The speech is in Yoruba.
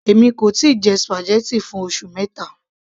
èmi kò tíì jẹ spaghetti fún oṣù mẹta